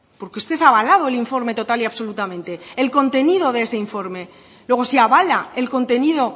porque usted ha avalado el informe total y absolutamente el contenido de ese informe luego si avala el contenido